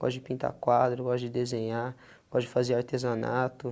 pode pintar quadro, pode desenhar, pode fazer artesanato.